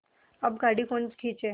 अब गाड़ी कौन खींचे